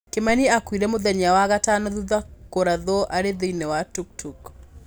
Kimani akuire mũthenya wagatano thutha kurathwo arĩ thĩinĩ wa Tuk Tuk